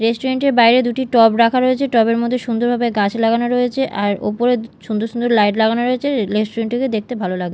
restaurant -এর বাইরে দুটি রাখা রয়েছে টব -এর মধ্যে সুন্দরভাবে গাছ লাগানো রয়েছে আর ওপরে সুন্দর সুন্দর লাইট লাগানো রয়েছে রেস্টুরেন্ট -টিকে দেখতে ভালো লাগ--